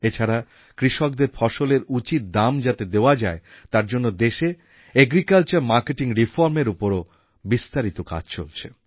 এছাড়া কৃষকদের ফসলের উচিৎ দাম যাতে দেওয়া যায় তার জন্য দেশে এগ্রিকালচার মার্কেটিং Reformএর উপর ও বিস্তারিত কাজ চলছে